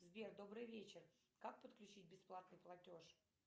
сбер добрый вечер как подключить бесплатный платеж